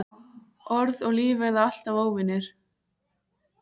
Orð og líf verða alltaf óvinir.